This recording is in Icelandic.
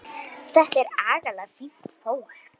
Sú tign hans stóð stutt.